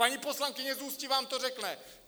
Paní poslankyně z Ústí vám to řekne!